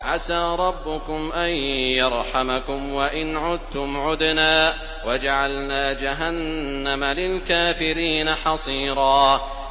عَسَىٰ رَبُّكُمْ أَن يَرْحَمَكُمْ ۚ وَإِنْ عُدتُّمْ عُدْنَا ۘ وَجَعَلْنَا جَهَنَّمَ لِلْكَافِرِينَ حَصِيرًا